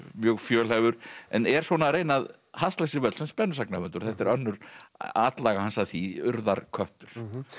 mjög fjölhæfur en er að reyna að hasla sér völl sem spennusagnahöfundur þetta er önnur atlaga hans að því urðarköttur